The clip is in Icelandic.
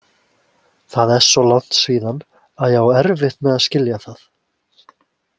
Það er svo langt síðan að ég á erfitt með að skilja það.